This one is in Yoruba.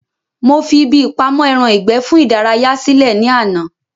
Mo fi ibi ìpamọ́ ẹran ìgbẹ́ fún ìdárayá sí lẹ̀ ní àná